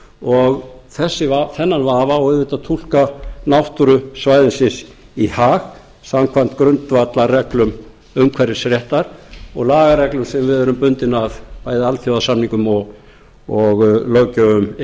og þennan vafa á auðvitað að túlka náttúru svæðisins í hag samkvæmt grundvallarreglum umhverfisréttar og lagareglum sem við erum bundin af bæði alþjóðasamningum og löggjöf e e